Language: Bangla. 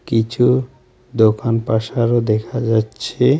কিছু দোকান পাসারও দেখা যাচ্ছে।